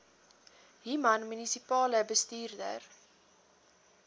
human munisipale bestuurder